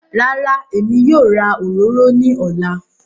Rárá, Èmi yóò rà òròrò ní òlá.